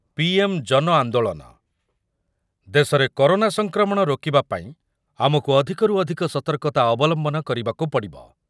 ପ୍ରଧାନମନ୍ତ୍ରୀ ଜନ ଆନ୍ଦୋଳନ, ଦେଶରେ କରୋନା ସଂକ୍ରମଣ ରୋକିବା ପାଇଁ ଆମକୁ ଅଧିକରୁ ଅଧିକ ସତର୍କତା ଅବଲମ୍ବନ କରିବାକୁ ପଡିବ ।